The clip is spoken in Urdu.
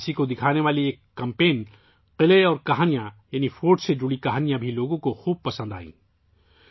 اس کی عکاسی کرنے والی ایک مہم، 'قلعہ اور کہانیاں' یعنی قلعوں سے متعلق کہانیاں بھی لوگوں نے پسند کیں